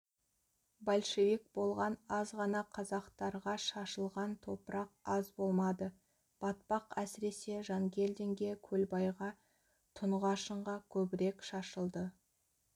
большевик болған аз ғана қазақтарға шашылған топырақ аз болмады батпақ әсіресе жангелдинге көлбайға тұнғашынға көбірек шашылды